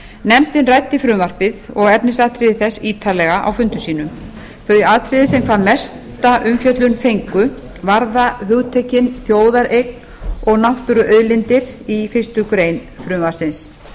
nefndin ræddi frumvarpið og efnisatriði þess ítarlega á fundum sínum þau atriði sem hvað mesta umfjöllun fengu varða hugtökin þjóðareign og náttúruauðlindir í fyrstu grein frumvarpsins